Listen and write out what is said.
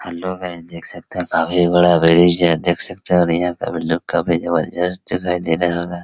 Hello guys देख सकते हैं काफी बड़ा ब्रिज है देख सकते हैं और यहाँ का भी लुक काफी जबरदस्त दिखाई दे रहा होगा।